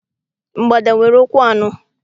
Mgbada nwere ụkwụ anọ.